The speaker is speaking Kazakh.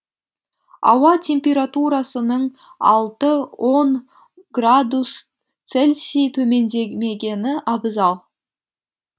ауа температурасының алты он градус целсий төмендемегені абзал